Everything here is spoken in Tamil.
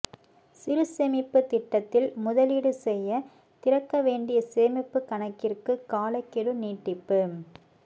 சிறு சேமிப்பு திட்டத்தில் முதலீடு செய்ய திறக்க வேண்டிய சேமிப்பு கணக்கிற்கு காலக்கெடு நீட்டிப்பு